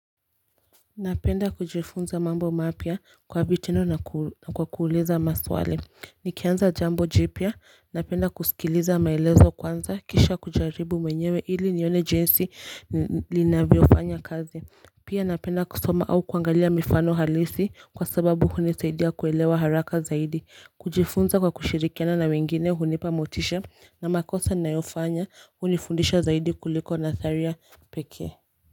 Napenda kujifunza mambo mapya kwa vitendo na kwa kuliza maswali Nikianza jambo jipya napenda kusikiliza maelezo kwanza kisha kujaribu mwenyewe ili nione jinsi linavyofanya kazi Pia napenda kusoma au kuangalia mifano halisi kwa sababu hunisaidia kuelewa haraka zaidi kujifunza kwa kushirikiana na wengine hunipa motisha na makosa nayofanya hunifundisha zaidi kuliko nadharia pekee.